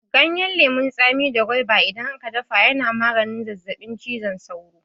Ganyen lemu da gwaiba idan a ka dafa ya na maganin zazzaɓin cizon sauro.